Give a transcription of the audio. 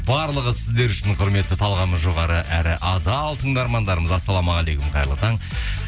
барлығы сіздер үшін құрметті талғамы жоғары әрі адал тыңдармандарымыз ассалаумағалейкум қайырлы таң